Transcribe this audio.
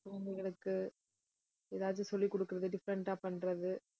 குழந்தைகளுக்கு, ஏதாவது சொல்லிக் கொடுக்கிறது, different ஆ பண்றது